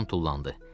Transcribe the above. Loran tullandı.